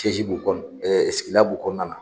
tɛji b'u kɔ ɛ sigila b'u kɔnɔna na